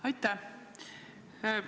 Aitäh!